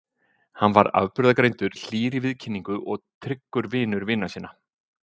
Hann var afburðagreindur, hlýr í viðkynningu og tryggur vinur vina sinna.